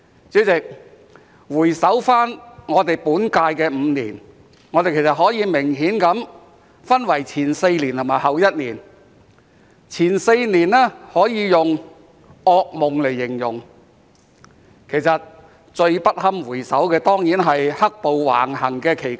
主席，回首本屆立法會5年，我們其實可以明顯地分為前4年和後1年，前4年可以用"噩夢"來形容，而最不堪回首的當然是在"黑暴"橫行期間。